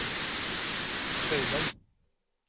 Søyland